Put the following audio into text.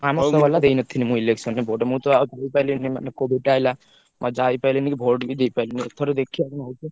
ଆମ ଦେଇନଥିଲି ମୁଁ election ରେ vote ମୁଁ ତ ଆଉ ମନେ COVID ଟା ଆଇଲା, ମୁଁ ଆଉ ଯାଇପାଇଲିନି କି vote ବି ଦେଇପାଇଲିନି। ଏଥର ଦେଖିବା କଣ ହଉଛି।